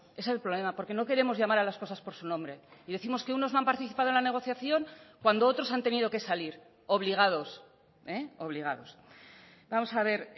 es el problema porque no queremos llamar a las cosas por su nombre y décimos que unos no han participado en la negociación cuando otros han tenido que salir obligados obligados vamos a ver